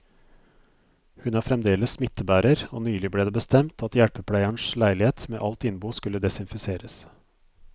Hun er fremdeles smittebærer, og nylig ble det bestemt at hjelpepleierens leilighet med alt innbo skulle desinfiseres.